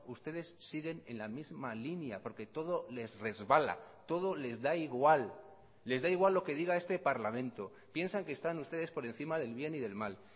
ustedes siguen en la misma línea porque todo les resbala todo les da igual les da igual lo que diga este parlamento piensan que están ustedes por encima del bien y del mal